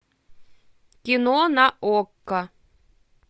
кино на окко